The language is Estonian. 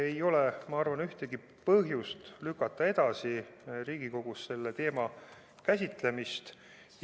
Ei ole, ma arvan, ühtegi põhjust lükata Riigikogus selle teema käsitlemist edasi.